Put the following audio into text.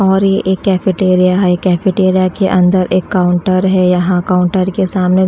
और ये एक कैफेटेरिया है कैफेटेरिया के अंदर एक काउंटर है यहां काउंटर के सामने --